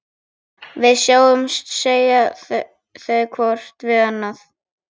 Við sjáumst, segja þau hvort við annað.